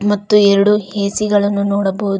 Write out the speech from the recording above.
ಮತ್ತು ಎರಡು ಎ_ಸಿ ಗಳನ್ನು ನೋಡಬಹುದು.